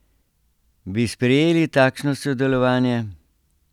Bi sprejeli takšno sodelovanje?